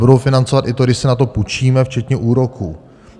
Budou financovat i to, když si na to půjčíme, včetně úroků.